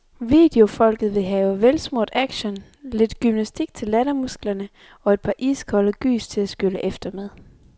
Videofolket vil have velsmurt action, lidt gymnastik til lattermusklerne og et par iskolde gys til at skylle efter med.